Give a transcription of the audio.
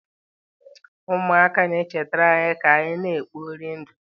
Ụmụaka na-echetara anyị ka anyị na-ekpori ndụ.